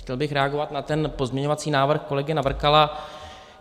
Chtěl bych reagovat na ten pozměňovací návrh kolegy Navrkala.